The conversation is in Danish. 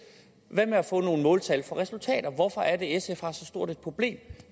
hvad med at få nogle måltal for resultater hvorfor er det at sf har så stort et problem